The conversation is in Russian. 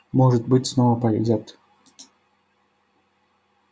может быть снова повезёт